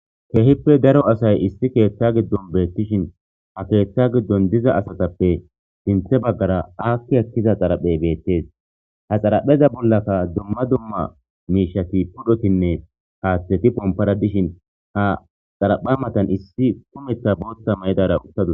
Keehippe daro asay issi ketha gidon betishn ha keetha gidon diza asatappe sinthe bagara aaki ekida xaraphey betes. Ha xarapheza bollaka dumma dumma mishati pototinne hatheti pompara dishn ha xarapha matan issi kumetha bootha mayidara utadus.